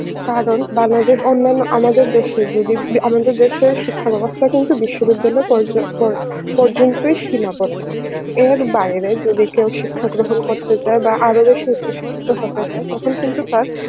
কারণ অন্যান্য আমাদের দেশের যদি আমাদের দেশের শিক্ষা বেবস্থা কিন্তু বিশ্ববিদ্যালয় পর্য~ পর্যন্তই সীমা বদ্ধ এর বাইরে যদি কেউ শিক্ষা গ্রহণ করতে চায় বা আরো বেশি উচ্চশিক্ষিত হতে চায় তখন কিন্তু তার